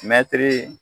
Mɛtiri